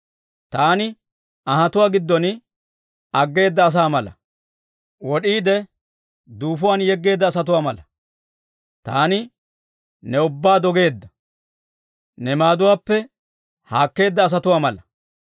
Taani anhatuwaa giddon aggeeda asaa mala; wod'iide duufuwaan yeggeedda asatuwaa mala. Taani ne ubbaa dogeedda, ne maaduwaappe haakkeedda asatuwaa mala.